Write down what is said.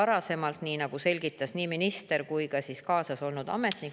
Seda selgitas nii minister kui ka temaga kaasas olnud ametnik.